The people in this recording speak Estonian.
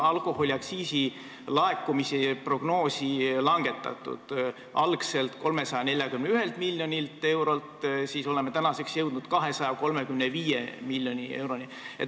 Algselt 341 miljonilt eurolt oleme tänaseks jõudnud 235 miljoni euroni.